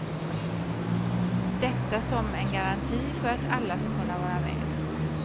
Detta som en garanti för att alla skall kunna vara med.